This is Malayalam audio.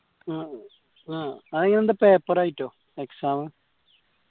ആഎന്താ paper ആയിട്ട് exam